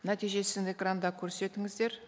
нәтижесін экранда көрсетіңіздер